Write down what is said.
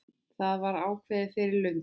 Það var ákveðið fyrir löngu.